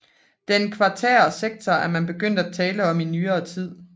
Den kvartære sektor er man begyndt at tale om i nyere tid